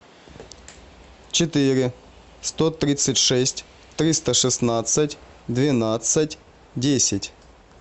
четыре сто тридцать шесть триста шестнадцать двенадцать десять